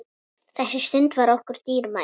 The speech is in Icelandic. Þessi stund var okkur dýrmæt.